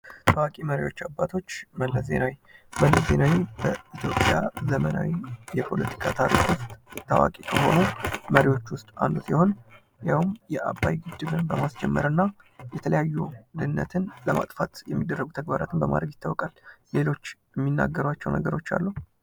ታዋቂ መሪዎች አባቶች፤ መለስ ዜናዊ፤ መለስ ዜናዊ ከዘመናዊ የፖለቲካ ታሪክ ውስጥ ታዋቂ ከሆኑ መሪዎች ውስጥ አንዱ ሲሆን ያውም የአባይ ግድብን በማስጀመር እና የተለያዩ ድህነትን ለማጥፋት የሚደረጉ ተግባራትን በማረግ ይትወቃል። ሌሎች የሚናገሯቸው ነገሮች አሉ?